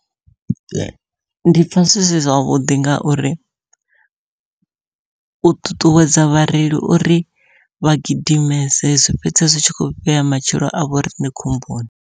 Ndi pfha zwi si zwavhuḓi ngauri u ṱuṱuwedza vhareili uri vha gidimese zwi fhedza zwi tshi kho vhea matshilo a vhoriṋe khomboni.